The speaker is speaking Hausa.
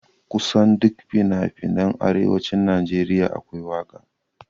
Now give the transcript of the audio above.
Kusan duk finafinan arewacin Najeriya akwai waƙa